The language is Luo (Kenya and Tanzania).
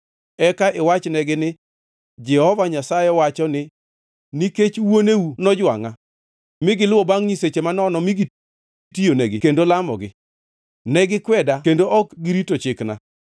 Eka iwachnegi ni Jehova Nyasaye owacho ni, ‘Nikech wuoneu nojwangʼa, mi giluwo bangʼ nyiseche manono mi gitiyonegi kendo lamogi. Ne gikweda kendo ok girito chikna.